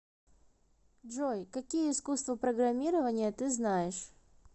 джой какие искусство программирования ты знаешь